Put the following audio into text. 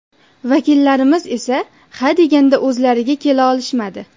Vakillarimiz esa ha deganda o‘zlariga kela olishmadi.